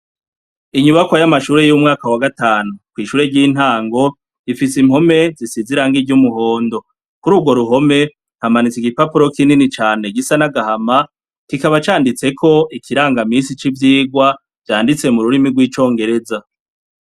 Inyubakwa y' amashure yo mu mwaka wa gatanu n' ishure ry' intango, rifis' impombe zisizw' irangi ry' umuhondo, ku rugwo ruhome hamanits' igipapuro kinini cane gisa n' agahama, kikaba canditsek' ikirangaminsi c' ivyigwa vyanditse mu rurimi rw' icongereza.